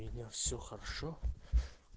меня все хорошо